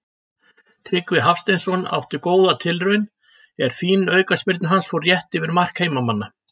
Tryggvi Hafsteinsson átti góða tilraun er fín aukaspyrna hans fór rétt yfir mark heimamanna.